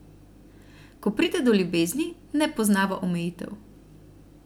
Ko pride do ljubezni, ne poznava omejitev.